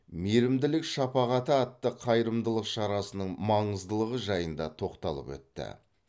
мейірімділік шапағаты атты қайырымдылық шарасының маңыздылығы жайында тоқталып өтті